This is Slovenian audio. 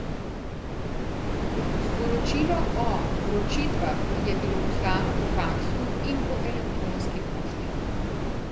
Sporočilo o vročitvah je bilo poslano po faksu in po elektronski pošti.